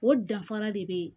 O danfara de be yen